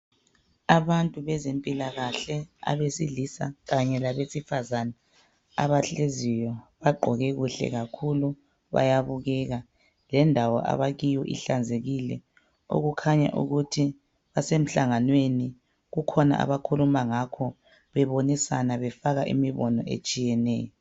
Abantu bezempilakahle abesilisa kanye labesifazana . Abahleziyo bagqoke kuhle kakhulu bayabukeka .Lendawo abakiyo ihlanzekile, okukhanya ukuthi basemhlanganweni. Kukhona abakhuluma ngakho bebonisana befaka imibono etshiyeneyo.